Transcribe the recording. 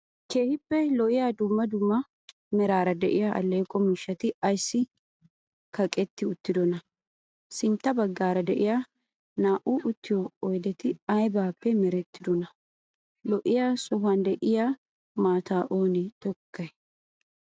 keehippe lo7iyaa duummaa duummaa meraara de7iya alleqo miishshati aysi kaqqetti uttiddonaa? sintta baggara de7iya naa7u uttiyo oydeti aybappe mereetiddona? lo7iya sohuwan de7iya maataa oone tokkiday?